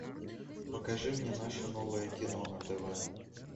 покажи мне наше новое кино на тв